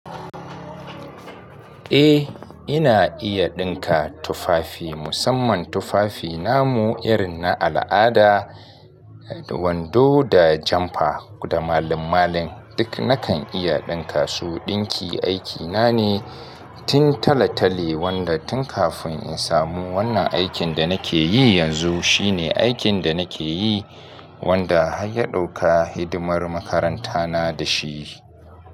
Eh ina iya ɗinka tufafi, musamman tufafi namu irin na al'ada, wando da janfa da malin-malin duk nakan iya ɗinka su. Ɗinki aikina ne tun talatale wanda tun kafin in samu wannan aikin da nake yi yanzu shine aikin da nake yi wanda har ya ɗauka hidimar makarantana da shi.